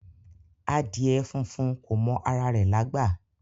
Adìẹ funfun kò mọ ara rẹ̀ lágbà